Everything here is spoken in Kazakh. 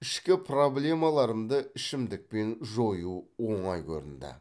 ішкі проблемаларымды ішімдікпен жою оңай көрінді